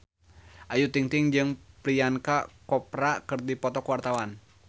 Ayu Ting-ting jeung Priyanka Chopra keur dipoto ku wartawan